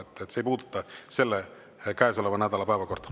See ei puuduta käesoleva nädala päevakorda.